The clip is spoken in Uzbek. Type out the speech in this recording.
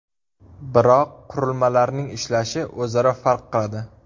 Biroq qurilmalarning ishlashi o‘zaro farq qiladi.